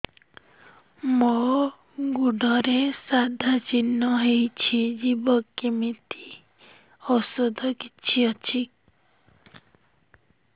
ମୋ ଗୁଡ଼ରେ ସାଧା ଚିହ୍ନ ହେଇଚି ଯିବ କେମିତି ଔଷଧ କିଛି ଅଛି